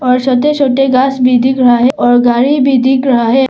और छोटे छोटे घास भी दिख रहा है और गाड़ी भी दिख रहा है।